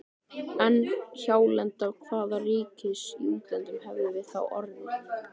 En hjálenda hvaða ríkis í útlöndum hefðum við þá orðið?!